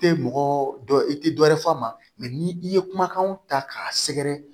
I tɛ mɔgɔ dɔ i tɛ dɔ wɛrɛ fɔ a ma ni i ye kumakanw ta k'a sɛgɛrɛ